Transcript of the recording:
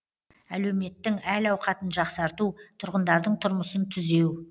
әлеуметтің әл ауқатын жақсарту тұрғындардың тұрмысын түзеу